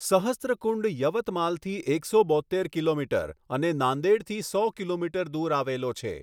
સહસ્રકુંડ યવતમાલથી એકસો બોત્તેર કિલોમીટર અને નાંદેડથી સો કિમી દૂર આવેલો છે.